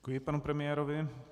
Děkuji pan premiérovi.